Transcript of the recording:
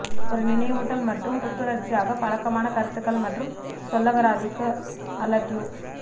ஒரு நினைவூட்டல் மற்றும் புத்துணர்ச்சியாக பழக்கமான கருத்துகள் மற்றும் சொல்லகராதிக்கு அலுட்யூ